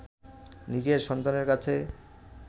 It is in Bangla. নিজের সন্তানের কাছে